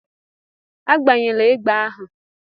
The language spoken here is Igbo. Agbanyela egbe ahu!